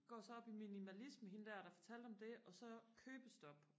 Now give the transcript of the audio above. går så op i minimalisme hende der der fortalte om det og så købestop